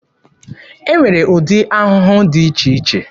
E nwere ụdị ahụhụ dị iche iche.